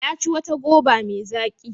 Ya ci wata goba mai zaƙi.